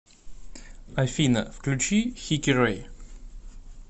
афина включи хикирэй